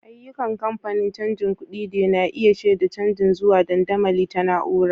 Ayyukan kamfanonin canjin kuɗi de na iya shaida canji zuwa dandamali ta na'ura.